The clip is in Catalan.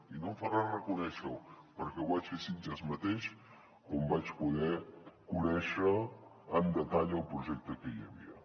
i no em fa res reconèixer ho perquè ho vaig fer a sitges mateix quan vaig poder conèixer en detall el projecte que hi havia